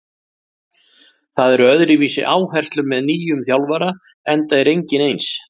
Það eru öðruvísi áherslur með nýjum þjálfara enda er enginn eins.